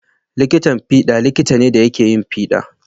Likitan fiɗa likita ne da yake yin fiɗa.